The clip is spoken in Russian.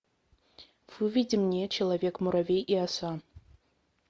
выведи мне человек муравей и оса